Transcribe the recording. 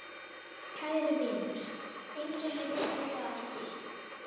Kæri vinur, eins og ég viti það ekki.